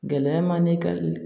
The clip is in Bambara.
Gɛlɛya man di ka i